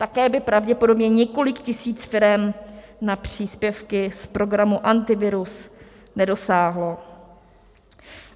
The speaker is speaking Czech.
Také by pravděpodobně několik tisíc firem na příspěvky z programu Antivirus nedosáhlo.